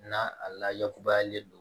Na a laybalen don